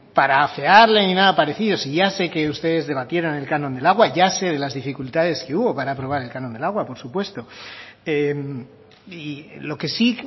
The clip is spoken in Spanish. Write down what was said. para afearle ni nada parecido si ya sé que ustedes debatieran el canon del agua ya sé de las dificultades que hubo para aprobar el canon del agua por supuesto y lo que sí